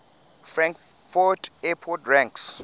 frankfurt airport ranks